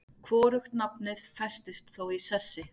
Hvorugt nafnið festist þó í sessi.